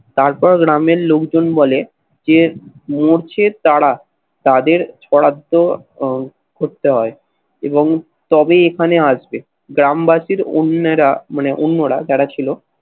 তারপর গ্রামের লোকজন বলে যে মরছে তারা, তাদের বরাদ্দ আহ করতে হয় এবং তবে এখানে আসবে। গ্রামবাসীর অন্যেরা মানে অন্যরা যারা ছিল